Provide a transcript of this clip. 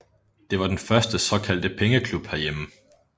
Det var den første såkaldte pengeklub herhjemme